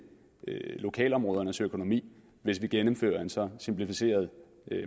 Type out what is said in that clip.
lokalområdernes økonomi hvis vi gennemfører en så simplificeret